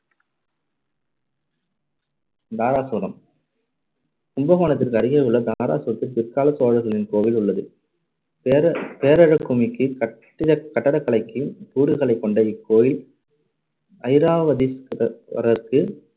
தாராசுரம் கும்பகோணத்திற்கு அருகேயுள்ள தாராசுரத்தில் பிற்காலச் சோழர்களின் கோவில் உள்ளது. பேர~ பேரழக்குமிக்க கட்டி~ கட்டடக்கலைக்கு கூறுகளைக் கொண்ட இக்கோவில் ஐராவதீஸ்த~ வரருக்கு.